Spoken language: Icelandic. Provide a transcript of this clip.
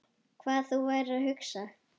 Hvað þú værir að hugsa.